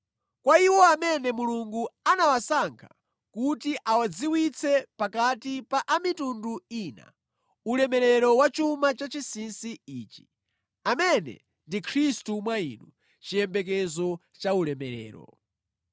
Kwa iwo amene Mulungu anawasankha kuti awadziwitse pakati pa a mitundu ina, ulemerero wa chuma cha chinsinsi ichi, amene ndi Khristu mwa inu, chiyembekezo cha ulemerero.